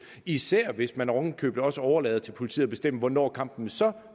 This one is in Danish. især hvis man oven i købet også overlader til politiet at bestemme hvornår kampen så